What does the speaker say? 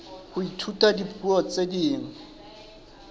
ho ithuta dipuo tse ding